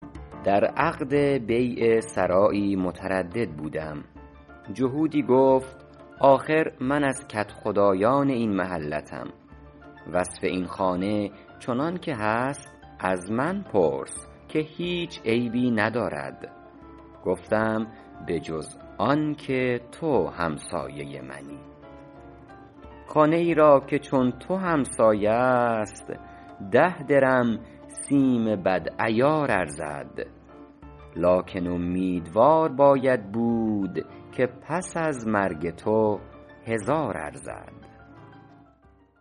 در عقد بیع سرایی متردد بودم جهودی گفت آخر من از کدخدایان این محلتم وصف این خانه چنان که هست از من پرس بخر که هیچ عیبی ندارد گفتم به جز آن که تو همسایه منی خانه ای را که چون تو همسایه است ده درم سیم بد عیار ارزد لکن امیدوار باید بود که پس از مرگ تو هزار ارزد